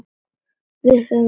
Við höfum tvær stærðar stofur.